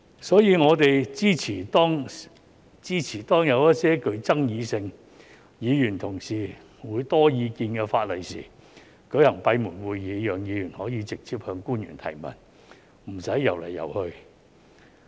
所以，我們支持當有一些具爭議性而議員同事會有很多意見的法例時，舉行閉門會議，讓議員可以直接向官員提問，不用"遊來遊去"。